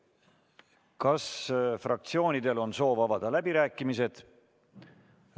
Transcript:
Kas fraktsioonidel on soov avada läbirääkimised?